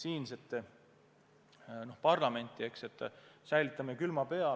Pigem ma kutsun parlamenti üles, et hoiame pea külma.